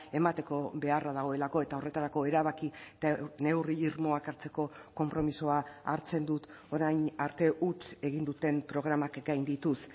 emateko beharra dagoelako eta horretarako erabaki eta neurri irmoak hartzeko konpromisoa hartzen dut orain arte huts egin duten programak gaindituz